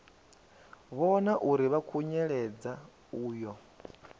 vhona uri vha khunyeledza uyo